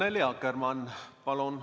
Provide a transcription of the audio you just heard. Annely Akkermann, palun!